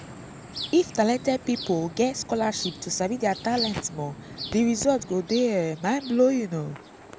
if talented pipo get scholarship to sabi their talent more di result go um de mind blowing